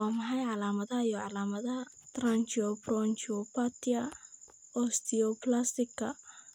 Waa maxay calaamadaha iyo calaamadaha Tracheobronchopathia osteoplastica?